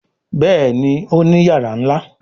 Béèni Òní iyàrá nlá.